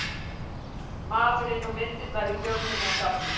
Maðurinn og myndirnar í Þjóðminjasafni